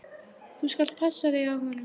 Þú skalt passa þig á honum!